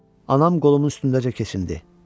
Anam qolumun üstündəcə kəsildi.